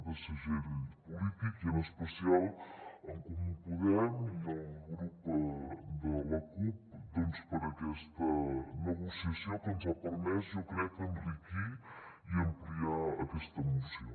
de segell polític i en especial a en comú podem i al grup de la cup doncs per aquesta negociació que ens ha permès jo crec enriquir i ampliar aquesta moció